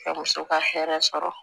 Ka muso ka hɛrɛ sɔrɔ